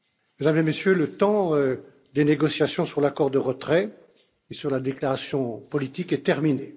Mesdames et Messieurs, le temps des négociations sur l'accord de retrait et sur la déclaration politique est terminé.